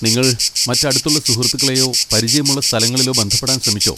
നിങ്ങൾ മറ്റ് അടുത്ത സുഹൃത്തുക്കളെയോ പരിചയമുള്ള സ്ഥലങ്ങളിലോ ബന്ധപ്പെടാൻ ശ്രമിച്ചോ?